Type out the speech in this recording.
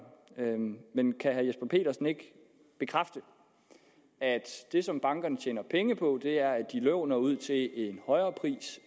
men kan herre jesper petersen ikke bekræfte at det som bankerne tjener penge på er at de låner ud til en højere pris